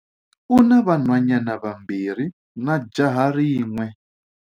U na vanhwanyana vambirhi na jaha rin'we.